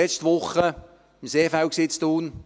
Letzte Woche war ich im Seefeld in Thun: